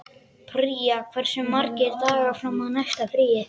Pría, hversu margir dagar fram að næsta fríi?